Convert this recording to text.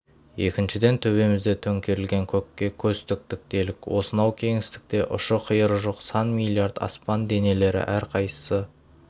екіншіден төбемізде төңкерілген көкке көз тіктік делік осынау кеңістікте ұшы-қиыры жоқ сан миллард аспан денелері әрқайсысы